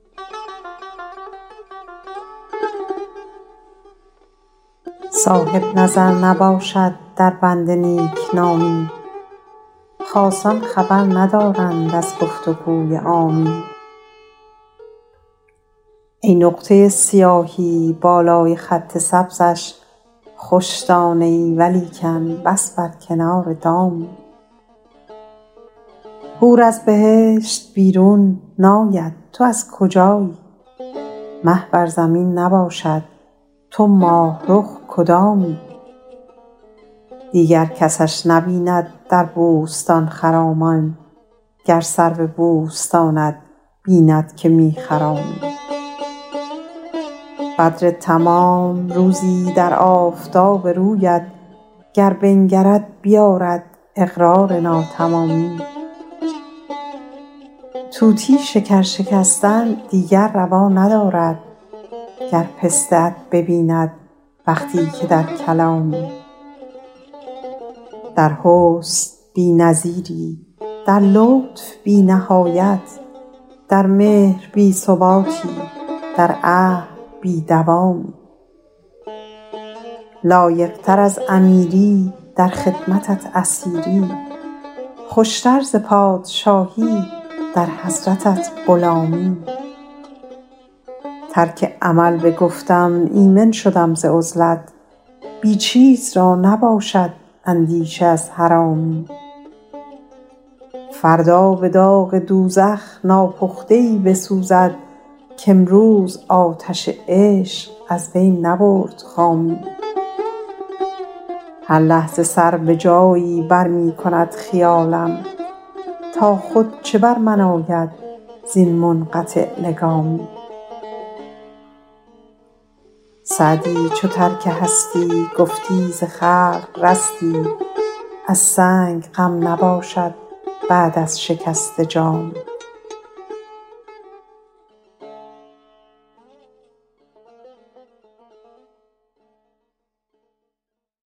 صاحب نظر نباشد در بند نیک نامی خاصان خبر ندارند از گفت و گوی عامی ای نقطه سیاهی بالای خط سبزش خوش دانه ای ولیکن بس بر کنار دامی حور از بهشت بیرون ناید تو از کجایی مه بر زمین نباشد تو ماه رخ کدامی دیگر کسش نبیند در بوستان خرامان گر سرو بوستانت بیند که می خرامی بدر تمام روزی در آفتاب رویت گر بنگرد بیآرد اقرار ناتمامی طوطی شکر شکستن دیگر روا ندارد گر پسته ات ببیند وقتی که در کلامی در حسن بی نظیری در لطف بی نهایت در مهر بی ثباتی در عهد بی دوامی لایق تر از امیری در خدمتت اسیری خوش تر ز پادشاهی در حضرتت غلامی ترک عمل بگفتم ایمن شدم ز عزلت بی چیز را نباشد اندیشه از حرامی فردا به داغ دوزخ ناپخته ای بسوزد کامروز آتش عشق از وی نبرد خامی هر لحظه سر به جایی بر می کند خیالم تا خود چه بر من آید زین منقطع لگامی سعدی چو ترک هستی گفتی ز خلق رستی از سنگ غم نباشد بعد از شکسته جامی